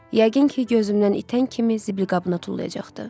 Yəqin ki, gözümdən itən kimi zibilqabına tullayacaqdı.